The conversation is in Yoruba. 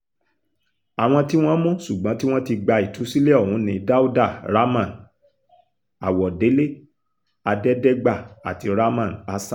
àwọn tí wọ́n mú ṣùgbọ́n tí wọ́n ti gba ìtúsílẹ̀ ọ̀hún ni dáúdà ramón àwọ̀délé adẹ́dẹ́gbà àti ramon hasan